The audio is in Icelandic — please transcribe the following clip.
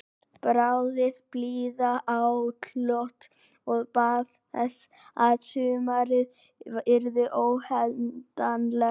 Þráði blíðuatlot og bað þess að sumarið yrði óendanlegt.